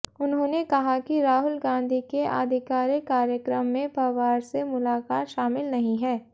उन्होंने कहा कि राहुल गांधी के आधिकारिक कार्यक्रम में पवार से मुलाकात शामिल नहीं है